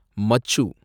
மச்சு